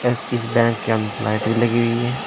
इस इस बैंक के अंदर लाइटें भी लगी हुई हैं।